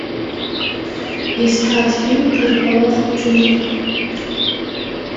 искать фильм переполох в джунглях